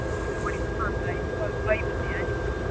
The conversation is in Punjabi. ਮੈਨੂੰ ਬੜੀ ਪਸੰਦ ਆਈ ਸੀ ਪਰ ਭਾਈ ਮੰਨੀਆਂ ਨੀ